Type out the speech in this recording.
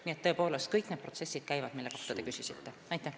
Nii et tõepoolest, kõik need protsessid, mille kohta te küsisite, käivad.